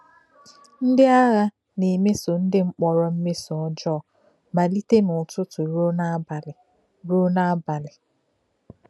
Ndị àgha na-emèsò ndị mkpọ̀rọ mmeso ọ́jọọ malítè n’ụ́tụ̀tụ̀ ruo n’abalị. ruo n’abalị.